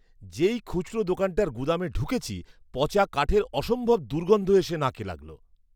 যেই খুচরো দোকানটার গুদামে ঢুকেছি পচা কাঠের অসম্ভব দুর্গন্ধ এসে নাকে লাগল।